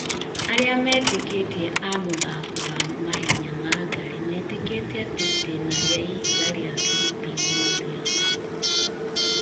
Arĩa metĩkĩtie amũthaako wa mahenya ma ngari metĩkĩtie atĩ itĩna rĩa ihiga rĩa Sleeping Warrior ,